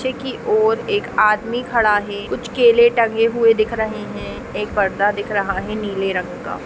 पीछे की ओर एक आदमी खडा है कुछ केले टंगे हुए दिख रहे हैं एक पर्दा दिख रहा है नीले रंग का।